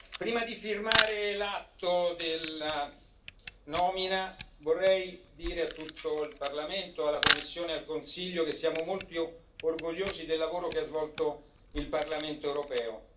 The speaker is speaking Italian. Prima di firmare l'atto della nomina, vorrei dire a tutto il Parlamento, alla Commissione e al Consiglio che siamo molto orgogliosi del lavoro che ha svolto il Parlamento europeo.